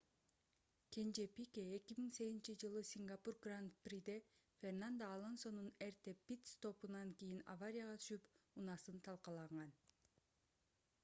кенже пике 2008-жылы сингапур гран-приде фернандо алонсонун эрте пит-стопунан кийин аварияга түшүп унаасын талкаланган